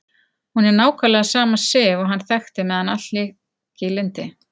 Hún er nákvæmlega sama Sif og hann þekkti meðan allt lék í lyndi.